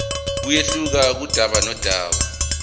kuyehluka kudaba nodaba